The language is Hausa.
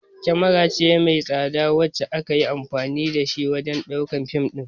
kamara ce mai tsada wacce akayi anfani da shi wajan ɗaukan fim ɗin